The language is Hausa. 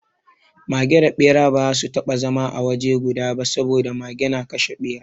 Mage da Ɓera ba za su taɓa zama a waje guda ba saboda Mage na kashe Ɓera.